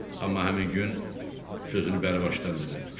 Amma həmin gün sözünü bəri başdan dedi.